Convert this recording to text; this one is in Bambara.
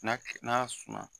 N'a kɛ, n'a suma